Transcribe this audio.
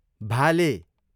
भाले